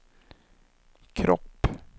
kropp